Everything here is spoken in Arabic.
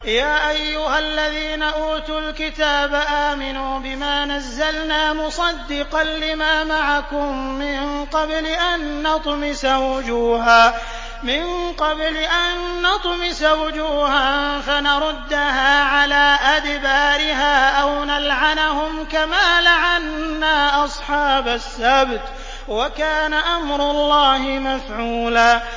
يَا أَيُّهَا الَّذِينَ أُوتُوا الْكِتَابَ آمِنُوا بِمَا نَزَّلْنَا مُصَدِّقًا لِّمَا مَعَكُم مِّن قَبْلِ أَن نَّطْمِسَ وُجُوهًا فَنَرُدَّهَا عَلَىٰ أَدْبَارِهَا أَوْ نَلْعَنَهُمْ كَمَا لَعَنَّا أَصْحَابَ السَّبْتِ ۚ وَكَانَ أَمْرُ اللَّهِ مَفْعُولًا